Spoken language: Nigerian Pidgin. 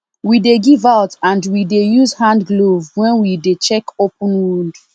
we dey give out and we dey use hand glove when we dey check open wound